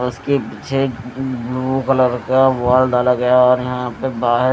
उसके पीछे एक ब्लू कलर का वॉल डाला गया और यहां पे बाहर--